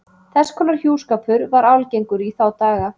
Þess konar hjúskapur var algengur í þá daga.